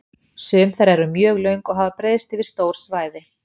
Sum þeirra eru mjög löng og hafa breiðst yfir stór svæði.